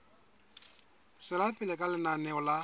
tswela pele ka lenaneo la